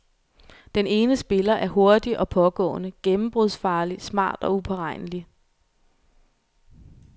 Den ene spiller er hurtig og pågående, gennembrudsfarlig, smart og uberegnelig.